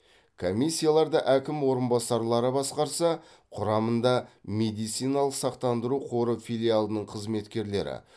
комиссияларды әкім орынбасарлары басқарса құрамында медициналық сақтандыру қоры филиалының қызметкерлері